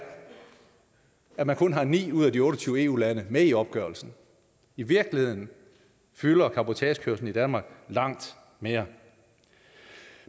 at der kun er ni ud af de otte og tyve eu lande med i opgørelsen i virkeligheden fylder cabotagekørslen i danmark langt mere